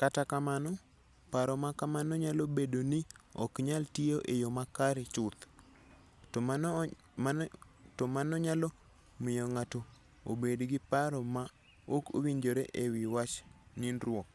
Kata kamano, paro ma kamano nyalo bedo ni ok nyal tiyo e yo makare chuth, to mano nyalo miyo ng'ato obed gi paro ma ok owinjore e wi wach nindruok,